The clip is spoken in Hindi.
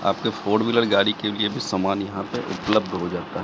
आपके फोर व्हीलर गाड़ी के लिए भी सामान यहां पे उपलब्ध हो जाता--